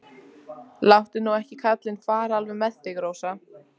Láttu nú ekki kallinn fara alveg með þig, Rósa.